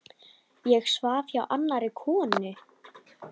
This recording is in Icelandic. Ég svaf hjá annarri konu.